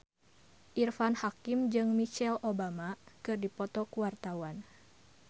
Irfan Hakim jeung Michelle Obama keur dipoto ku wartawan